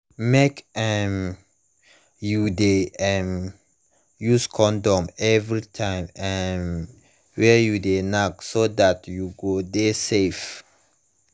make um you de um use condom every time um wey u de knack so that u go de safe